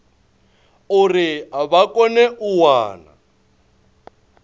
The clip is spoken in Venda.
uri vha kone u wana